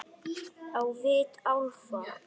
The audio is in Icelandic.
Á vit álfa.